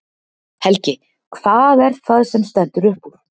Helgi: Hvað er það sem stendur upp úr?